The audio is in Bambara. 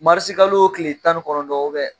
Marisi kalo tile tan ni kɔnɔntɔn u bɛ